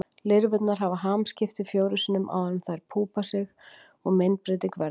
Lirfurnar hafa hamskipti fjórum sinnum áður en þær púpa sig og myndbreyting verður.